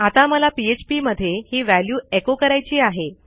आता मला पीएचपी मध्ये ही व्हॅल्यू एको करायची आहे